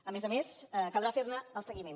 a més a més caldrà fer ne el seguiment